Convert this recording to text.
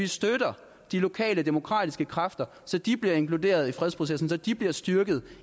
støtter de lokale demokratiske kræfter så de bliver inkluderet i fredsprocessen og så de bliver styrket